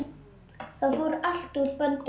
Það fór allt úr böndum.